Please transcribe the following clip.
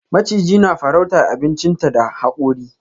Maciji na farrauta abinchinta da hakuri.